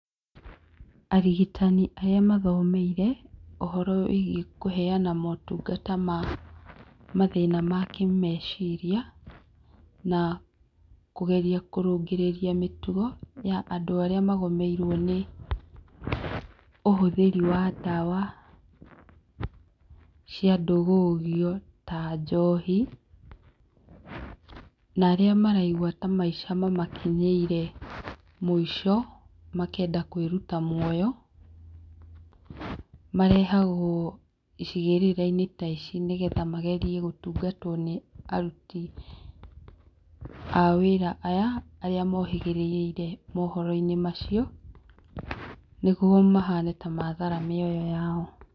Arigitani arĩa mathomeire, ũhoro wĩgie kũheana motungata ma mathĩna ma kĩmeciria na, kũgeria kũrũngĩrĩrĩa mĩtugo ya andũ arĩa magomeirwe nĩ ũhũthĩriwa ndawa cia ndũgũgio ta njohi, narĩa maraigua ta maica makĩnyeire mũico, makenda kwĩrũta mũoyo, marehagwo cigĩrĩrainĩ ta ici nĩgetha magerie gũtungata aruti aya arĩa mohĩgĩrĩrĩire mohoro macio nĩgũo mahane ta mathara mĩoyo yao.